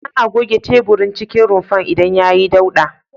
Ana goge teburin cikin rumfar idan yayi dauɗa.